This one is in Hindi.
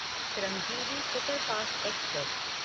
Shramjeevi superfast express